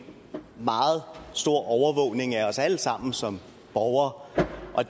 meget stor overvågning af os alle sammen som borgere